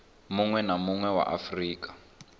munwe na munwe wa afurika